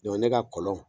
ne ka kɔlɔn